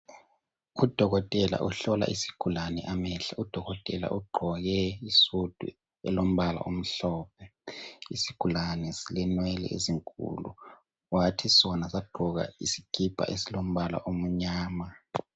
Udokotela uhlola isigulane amehlo, udokotela ugqoke isudu elombala omhlophe. Isigulane silenwele ezinkulu, wathi sona sagqoka isikipa esilombala omnyama.